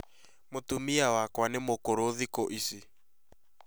Mũtumia wakwa nĩ mũkũrũ thĩku ĩcĩ